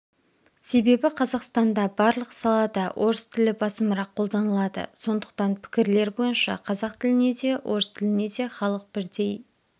себебі қазақстанда барлық салада орыс тілі басымырақ қолданылады сондықтан пікірлер бойынша қазақ тіліне де орыс тіліне де халық бірдей